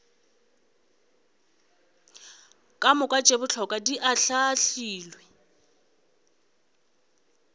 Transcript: kamoka tše bohlokwa di ahlaahlilwe